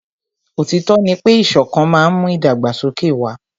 Òtítọ́ ní pé ìṣọ̀kan má n mú ìdàgbàsókè wà.